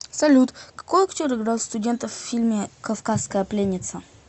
салют какои актер играл студента в фильме кавказская пленница